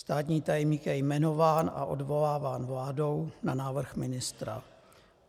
Státní tajemník je jmenován a odvoláván vládou na návrh ministra.